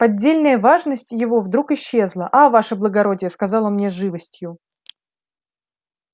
поддельная важность его вдруг исчезла а ваше благородие сказал он мне с живостью